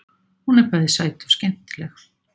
Hún er bæði sæt og skemmtileg.